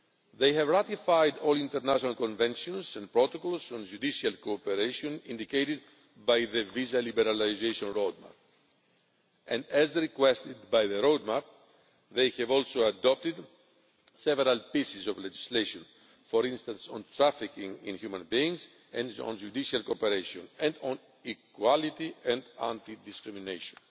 They have ratified all international conventions and protocols and judicial cooperation indicated by the visa liberalisation roadmap, and as requested by the roadmap they have also adopted several pieces of legislation, for instance on trafficking in human beings and on judicial cooperation and on equality and anti discrimination,